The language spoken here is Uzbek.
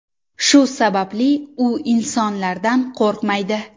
Shu sababli u insonlardan qo‘rqmaydi.